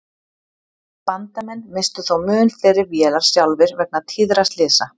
Bandamenn misstu þó mun fleiri vélar sjálfir vegna tíðra slysa.